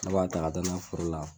Aw b'a ta ka taa n'a ye foro la.